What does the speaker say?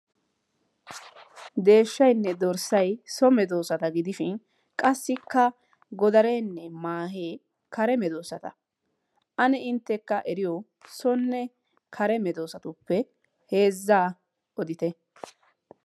Deeshshaynne dorssay so medoosata gidishin qassikka godareenne maahee kare medoosata. Ane inttekka eriyo sonne kare medoosatuppe heezzaa yootite.